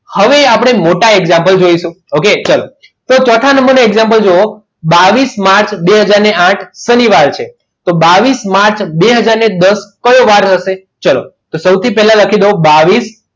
હવે આપણે મોટા example જોઈશું okay ચાલો તો ચોથા number ના example જુઓ બાવીસ માર્ચ બે હાજર ને આઠ શનિવાર છે તો બાવીસ માર્ચ અને બે હાજર દસ કયો વાર હશે ચલો તો સૌથી પહેલા લખી દો બાવીસ